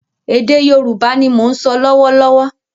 Ède Yorùbá ni mò ń so lọ́wọ́ lọ́wọ́